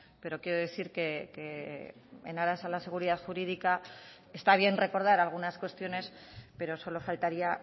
pero quiero decir que en aras a la seguridad jurídica está bien recordar algunas cuestiones pero solo faltaría